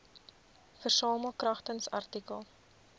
versamel kragtens artikel